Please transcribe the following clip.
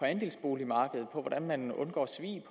andelsboligmarkedet og på hvordan man undgår svig